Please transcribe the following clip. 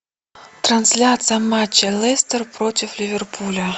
трансляция матча лестер против ливерпуля